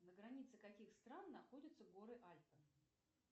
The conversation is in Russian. на границе каких стран находятся горы альпы